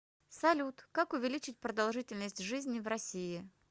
салют как увеличить продолжительность жизни в россии